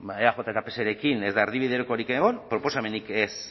eaj eta pserekin ez da erdibidekorik egon proposamenik ez